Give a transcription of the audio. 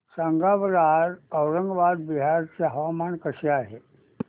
सांगा बरं आज औरंगाबाद बिहार चे हवामान कसे आहे